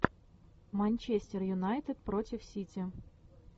манчестер юнайтед против сити